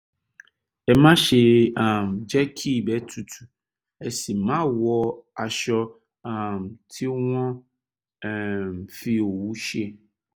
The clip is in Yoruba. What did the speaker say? ẹ máṣe um jẹ́ kí ibẹ̀ tutù ẹ sì má wọ aṣọ um tí wọ́n um fi òwú ṣe